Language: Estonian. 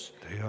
Teie aeg!